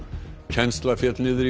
kennsla féll niður í